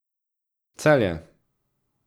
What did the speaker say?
Celje.